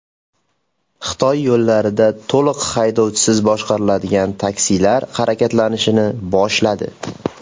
Xitoy yo‘llarida to‘liq haydovchisiz boshqariladigan taksilar harakatlanishni boshladi .